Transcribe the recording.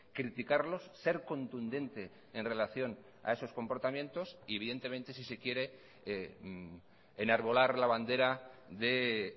criticarlos ser contundente en relación a esos comportamientos y evidentemente si se quiere enarbolar la bandera de